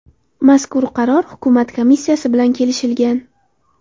Mazkur qaror hukumat komissiyasi bilan kelishilgan.